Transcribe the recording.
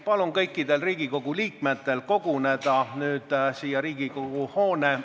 Palun kõikidel Riigikogu liikmetel koguneda Riigikogu hoone esimese korruse fuajeesse pildistamisele!